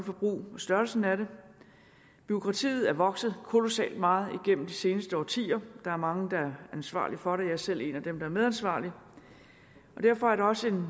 forbrug og størrelsen af det bureaukratiet er vokset kolossalt meget igennem de seneste årtier der er mange der er ansvarlige for det jeg er selv en af dem der er medansvarlige derfor er det også